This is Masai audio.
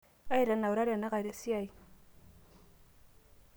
aitanaura tenakata esiai